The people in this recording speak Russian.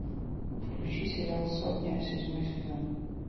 включи сериал сотня седьмой сезон